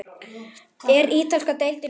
Er ítalska deildin betri?